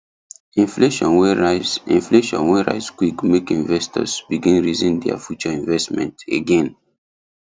inflation wey rise inflation wey rise quick make investors begin reason their future investment again